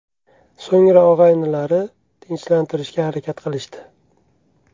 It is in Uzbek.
So‘ngra, og‘aynilari tinchlantirishga harakat qilishdi.